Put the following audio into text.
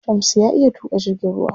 Shamsu ya iya tuƙa jirgin ruwa.